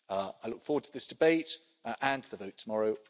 I look forward to this debate and the vote tomorrow.